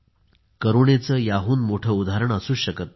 करुणेचे याहून मोठे उदाहरण असूच शकत नाही